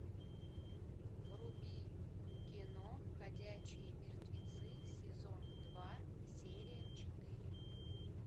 вруби кино ходячие мертвецы сезон два серия четыре